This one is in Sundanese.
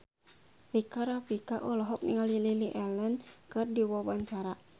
Rika Rafika olohok ningali Lily Allen keur diwawancara